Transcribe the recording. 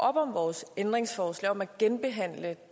op om vores ændringsforslag om at genbehandle